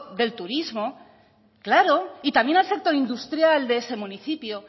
del turismo claro y también al sector industrial de ese municipio